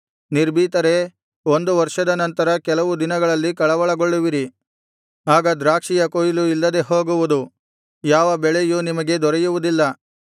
ನಿರ್ಭೀತರೇ ಒಂದು ವರ್ಷದ ನಂತರ ಕೆಲವು ದಿನಗಳಲ್ಲಿ ಕಳವಳಗೊಳ್ಳುವಿರಿ ಆಗ ದ್ರಾಕ್ಷಿಯ ಕೊಯ್ಲು ಇಲ್ಲದೆ ಹೋಗುವುದು ಯಾವ ಬೆಳೆಯೂ ನಿಮಗೆ ದೊರೆಯುವುದಿಲ್ಲ